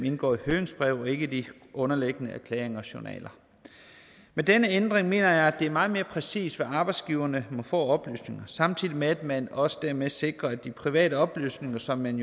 indgår i høringsbreve og ikke de underliggende erklæringer og journaler med denne ændring mener jeg at det er meget mere præcist hvad arbejdsgiverne må få af oplysninger samtidig med at man også dermed sikrer at de private oplysninger som man